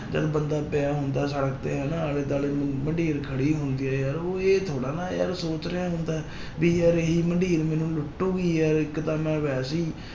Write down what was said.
ਜਦ ਬੰਦਾ ਪਿਆ ਹੁੰਦਾ ਸੜਕ ਤੇ ਹਨਾ ਆਲੇ ਦੁਆਲੇ ਮੰਡੀਰ ਖੜੀ ਹੁੰਦੀ ਹੈ ਯਾਰ ਉਹ ਇਹ ਥੋੜ੍ਹਾ ਨਾ ਯਾਰ ਸੋਚ ਰਿਹਾ ਹੁੰਦਾ ਹੈ ਵੀ ਯਾਰ ਇਹੀ ਮੰਡੀਰ ਮੈਨੂੰ ਲੁੱਟੇਗੀ ਯਾਰ ਇੱਕ ਤਾਂ ਮੈਂ ਵੈਸੇ ਹੀ